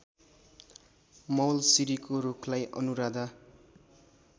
मौलसिरीको रूखलाई अनुराधा